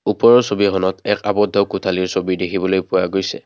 ওপৰৰ ছবিখনত এক আৱদ্ধ কোঠালিৰ ছবি দেখিবলৈ পোৱা গৈছে।